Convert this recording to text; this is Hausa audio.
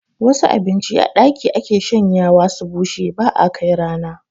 Wasu abinci a ɗaki ake shanyawa su bushe ba'a kai rana